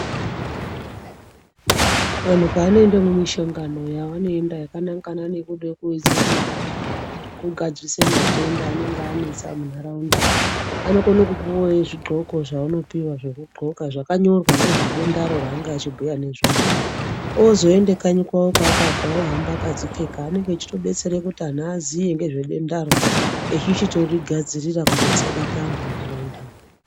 Vantu panoenda mumishongano yavanoenda yakanangana nekude kuedza kugadzirisa matenda anenge anetsa muntaraunda. Anokone kupiwa zvidxoko zvaanopuwa zvekudxoka zvakanyorwa ngezvedendaro raange echibhuya nezvaro. Oozoende kanyi kwawo kwaakabva ohamba akadzipfeka anenge eichitodetsera kuti antu aziye ngezvedendaro echichitorigadzirira kuti risabata antu muntaraunda mwo.